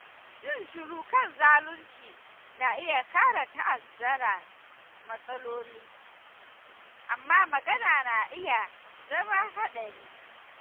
Yin shiru kan zalunci na iya ƙara ta'azzara matsaloli, amma magana na iya zama haɗari.